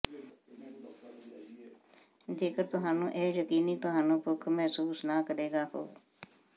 ਜੇਕਰ ਤੁਹਾਨੂੰ ਇਹ ਯਕੀਨੀ ਤੁਹਾਨੂੰ ਭੁੱਖ ਮਹਿਸੂਸ ਨਾ ਕਰੇਗਾ ਹੋ